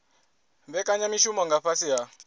vhekanya mishumo nga fhasi ha